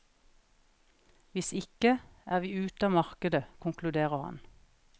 Hvis ikke, er vi ute av markedet, konkluderer han.